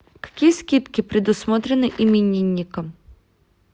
какие скидки предусмотрены именинникам